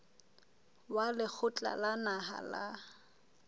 wa lekgotla la naha la